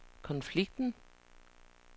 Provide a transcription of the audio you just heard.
konflikten